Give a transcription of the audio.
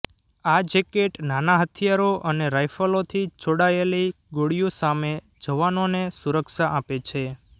આ જેકેટ નાના હથિયારો અને રાઈફલોથી છોડાયેલી ગોળીઓ સામે જવાનોને સુરક્ષા આપે છે